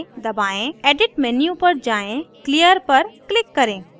edit menu पर जाएँ clear पर click करें